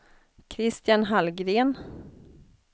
Christian Hallgren